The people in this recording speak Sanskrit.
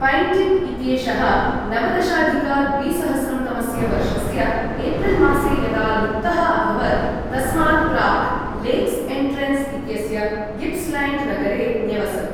पैण्टिक् इत्येषः नवदशाधिक द्विसहस्रं तमस्य वर्षस्य एप्रिल्मासे यदा लुप्तः अभवत् तस्मात् प्राक् लेक्स् एण्ट्रेन्स् इत्यस्य गिप्स्लैण्ड् नगरे न्यवसत्।